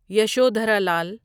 Yashodhara Lal